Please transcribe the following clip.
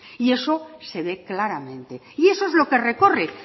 y eso se ve claramente y eso es lo que recorre